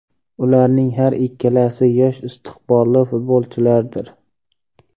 Ularning har ikkalasi yosh istiqbolli futbolchilardir”.